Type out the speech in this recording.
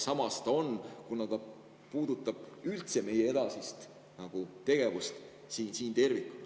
Samas ta ka seda on, kuna ta puudutab üldse meie edasist tegevust siin tervikuna.